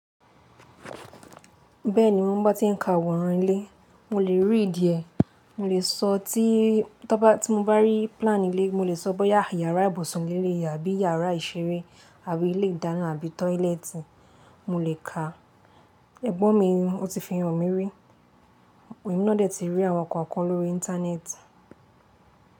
Bẹ́ẹ̀ni, mọ mo bọ tí ń ka àwòrán ilé, mo lè readí ẹ. Mọ lè sọ tí tọ́ bá tí mo bá rí plan ilé, mo lè sọ bóyá yàrá ibùsùn le leyii, àbí iyàrá ìṣeré àbí ilé ìdáná àbí toilet. Mọ lè ka, ẹ̀gbọ́n mi ọtí fi hàn mí rí. Èmi náà dẹ̀ ti rí àwọn kan kan lórí íńtánẹ́ẹ̀tì.